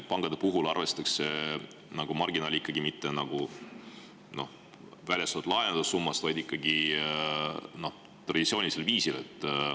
Pankade puhul arvestatakse marginaali mitte väljastatud laenude summa alusel, vaid ikkagi traditsioonilisel viisil.